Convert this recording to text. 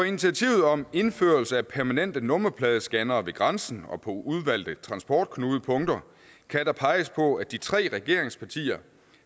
initiativet om indførelse af permanente nummerpladescannere ved grænsen og på udvalgte transportknudepunkter kan der peges på at de tre regeringspartier